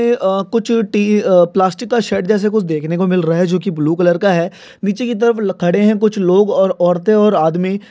ये अह कुछ टी अह प्लास्टिक का शर्ट जैसे देखने को मिल रहा जो की ब्लू कलर का है। नीचे की तरफ खड़े है कुछ लोग और औरते और आदमी।